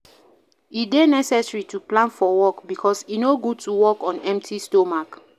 E de necessary to plan for work because e no good to work on empty stomach